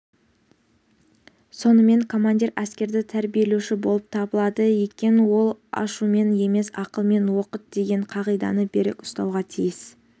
сонымен командир әскерді тәрбиелеуші болып табылады екен ол ашумен емес ақылмен оқыт деген қағиданы берік ұстануға тиіс